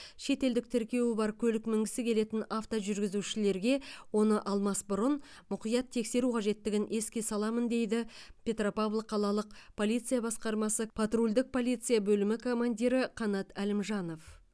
шетелдік тіркеуі бар көлік мінгісі келетін автожүргізушілерге оны алмас бұрын мұқият тексеру қажеттігін еске саламын дейді петропавл қалалық полиция басқармасы потрульдік полиция бөлімі командирі қанат әлімжанов